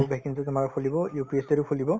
তোমাৰ খুলিব UPSC ও খুলিব